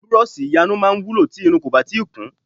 Burọ̀ṣì iyarun máa ń wúlò tí irun kò bá tíì kún